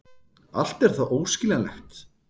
Allt er það óskiljanlegt.